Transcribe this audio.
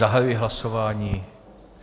Zahajuji hlasování.